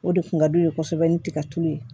O de kun ka d'u ye kosɛbɛ ni tigatulu ye